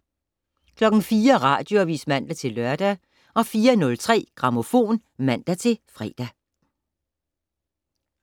04:00: Radioavis (man-lør) 04:03: Grammofon (man-fre)